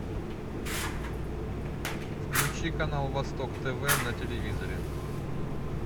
включи канал восток тв на телевизоре